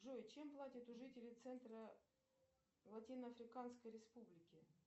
джой чем платят у жителей центра латино африканской республики